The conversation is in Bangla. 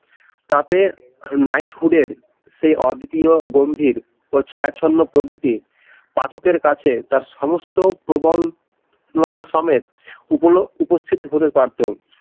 তাতে নাইটহুডের সে অদ্বিতীয় গম্ভীর ও ছায়াছন্ন প্রকৃতির পাঠকের কাছে তার সমস্ত প্রবল লতা সমেত উপস্থিত হতে পারতো